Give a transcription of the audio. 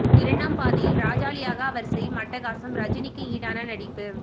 இரண்டாம் பாதியில் ராஜாளியாக அவர் செய்யும் அட்டகாசம் ரஜினிக்கு ஈடான நடிப்பு